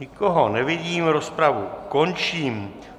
Nikoho nevidím, rozpravu končím.